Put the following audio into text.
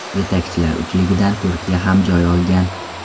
Yetakchilar uchligidan Turkiya ham joy olgan.